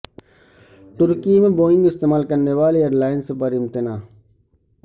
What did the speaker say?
ترکی میں بوئنگ استعمال کرنے والی ایرلائینز پر امتناع